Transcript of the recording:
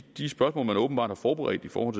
de spørgsmål man åbenbart har forberedt i forhold